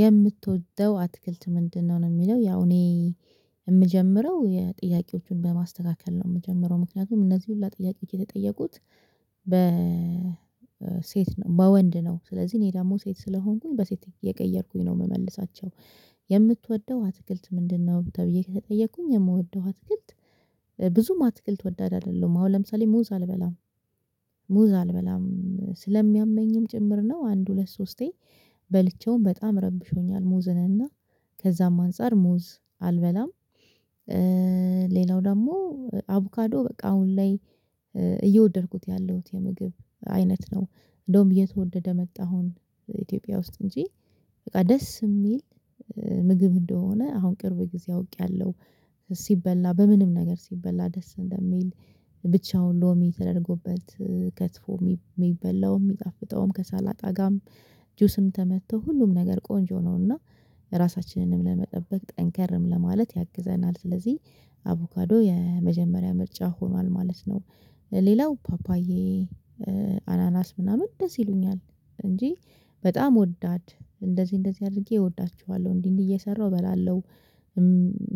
የምትወደው አትክልት ምንድነው ነው? የሚለው ያው እኔ የምጀምረው የጥያቄዎቹን በማስተካከል ነው የምጀምረው ምክንያቱም እነዚህ ሁሉ ጥያቄ የተጠየቁት በ ሴት ነው በወንድ ነው ስለዚህ እኔ ደግሞ ሴት ስለሆንኩኝ በሴት እየቀየርኩኝ ነው የምመልሳቸው። የምትወደው አትክልት ምንድነው ተብዬ ከተጠየቅኩኝ የምወደው አትክልት። ብዙም አትክልት ወዳድ አይደለሁም አሁን ለምሳሌ ሙዝ አልበላም ሙዝ አልበላም ስለሚያመኝም ጭምር ነው አንድ ሁለት ሶስቴ በልቼውም በጣም ረብሾኛል። ሙዝን እና ከዛም አንፃር ሙዝ አልበላም። ሌላው ደግሞ አቮካዶ በቃ አሁን ላይ እየወደድኩት ያለሁት የምግብ አይነት ነው። እንደውም እየተወደደ መጣ አሁን ኢትዮጵያ ውስጥ እንጂ በቃ ደስ የሚል ምግብ እንደሆነ አሁን ቅርብ ጊዜ አውቄያለሁ። ሲበላ በምንም ነገር ሲበላ ደስ እንደሚል ብቻውን ሎሚ ተደርጎበት ከትፎ የሚበላው የሚጣፍጠውም ከሰላጣ ጋም ጁስም ተመቶ ሁሉም ነገር ቆንጆ ነው። እና ራሳችንንም ለመጠበቅ ጠንከርም ለማለት ያግዘናል። ስለዚህ አቮካዶ የመጀመሪያ ምርጫ ሆኗል ማለት ነው። ሌላው ፓፓዬ አናናስ ምናምን ደስ ይሉኛል እንጂ በጣም ወዳድ እንደዚህ እንደዚህ አድርጌ እወዳችኋለሁ እንዲህ እንዲህ እየሰራሁ እበላለሁ።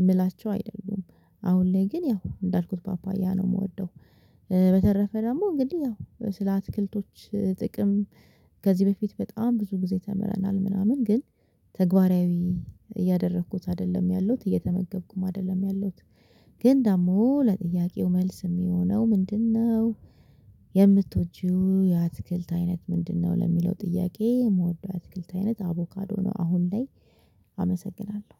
የምላቸው አይደሉም አሁን ላይ ግን ያው እንዳልኩት ፓፓያ ነው የምወደው። በተረፈ ደግሞ እንግዲህ ያው ስለ አትክልቶች ጥቅም ከዚህ በፊት በጣም ብዙ ጊዜ ተምረናል ምናምን ግን ተግባራዊ እያደረኩት አይደለም ያሉት እየተመገብኩም አይደለም ያለሁት። ግን ደግሞ ለጥያቄው መልስ የሚሆነው ምንድነው? የምትወጂው የአትክልት አይነት ምንድነው ለሚለው ጥያቄ የምወደው አትክልት አይነት አቮካዶ ነው። አሁን ላይ አመሰግናለሁ